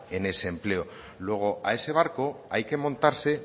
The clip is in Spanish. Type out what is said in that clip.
en ese empleo luego a ese barco hay que montarse